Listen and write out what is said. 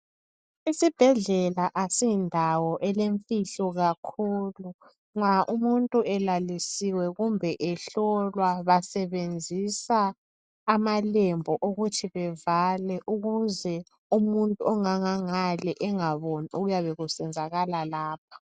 Isibhedlela asindawo elemfihlo kakhulu nxa umuntu elalisiwe kumbe ehlolwa basebenzisa amalembu ukuze bevale ukuze umuntu ongangale engaboni okuyabe kusenzakala lapho